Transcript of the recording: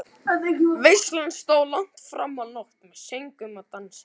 Veislan stóð langt fram á nótt með söngvum og dansi.